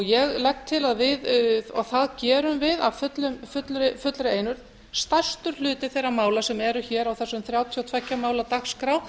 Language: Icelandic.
ég legg til að við og það gerum við af fullri einurð stærstur hluti þeirra mála sem eru hér á þessari þrjátíu og tvö ja mála dagskrá